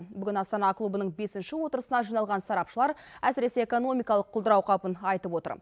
бүгін астана клубының бесінші отырысына жиналған сарапшылар әсіресе экономикалық құлдырау қаупін айтып отыр